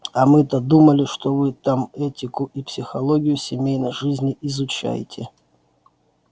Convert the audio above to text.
а мы-то думали что вы там этику и психологию семейной жизни изучаете